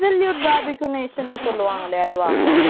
absolute Bharathi creation சொல்லுவாங்களே அதுவா